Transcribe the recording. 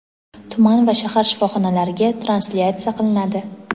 tuman va shahar shifoxonalariga translyatsiya qilinadi.